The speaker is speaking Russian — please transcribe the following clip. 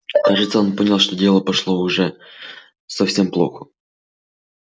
кажется он понял что дело пошло уже совсем плохо